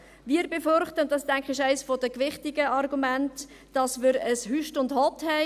Wir befürchten – und das ist, denke ich, eines der gewichtigen Argumente –, dass wir ein Hüst und Hott haben werden;